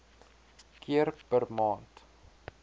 keer per maand